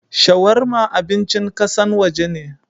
Shawarma abincin kassan waje ne.